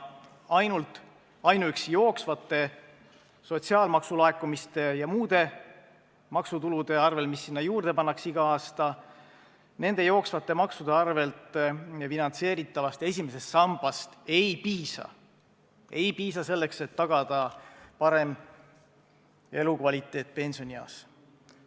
Ainuüksi jooksvatest sotsiaalmaksu laekumistest ja muudest maksutuludest, mis esimesse sambasse juurde pannakse iga aasta, ei piisa, et tagada parem elukvaliteet pensionieas.